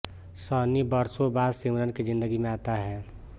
सनी बरसों बाद सिमरन की जिंदगी में आता है